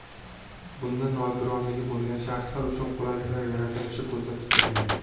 Bunda nogironligi bo‘lgan shaxslar uchun qulayliklar yaratilishi ko‘zda tutilgan.